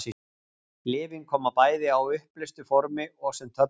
Lyfin koma bæði á uppleystu formi og sem töflur.